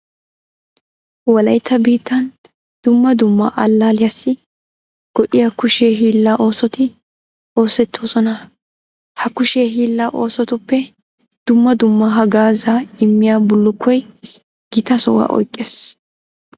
Wolaytta biittan dumma dumma allaalliyassi go"iya kushe hiillaa oosoti oosettoosona. Ha kushe hiillaa oosotuppe dumma dumma haggaazaa immiya bullukkoy gita sohuwa oyqqees.